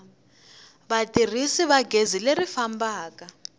vatirhisi va gezi leri fambaka